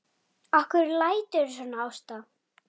Ég anda maganum snöggt inn.